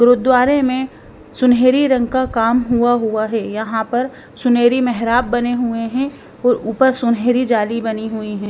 गुरुद्वारे में सुनहरी रंग का काम हुआ हुआ है यहाँ पर सुनहरी मेहराब बने हुए हैं और ऊपर सुनहरी जाली बनी हुई है।